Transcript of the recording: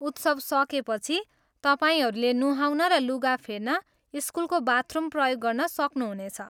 उत्सव सकेपछि, तपाईँहरूले नुहाउन र लुगा फेर्न स्कुलको बाथरूम प्रयोग गर्न सक्नुहुनेछ।